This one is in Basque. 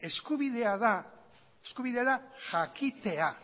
eskubidea da jakitea